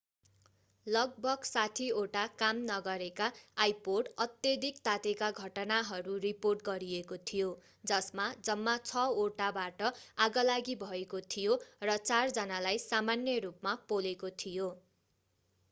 लगभग 60 वटा काम नगरेका आइपोड अत्यधिक तातेका घटनाहरू रिपोर्ट गरिएको थियो जसमा जम्मा छ वटाबाट आगलागी भएको थियो र चार जनालाई सामान्य रूपमा पोलेको थियो